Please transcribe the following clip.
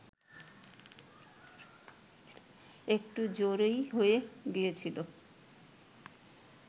একটু জোরেই হয়ে গিয়েছিল